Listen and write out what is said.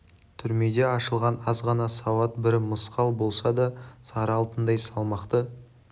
түрмеде ашылған аз ғана сауат бір мысқал болса да сары алтындай салмақты